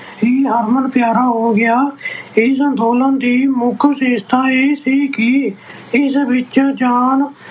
ਹੀ ਹਰਮਨ ਪਿਆਰਾ ਹੋ ਗਿਆ ਇਸ ਅੰਦੋਲਨ ਦੀ ਮੁੱਖ ਵਿਸ਼ੇਸ਼ਤਾ ਇਹ ਸੀ ਕਿ ਇਸ ਵਿੱਚ ਜਾਣ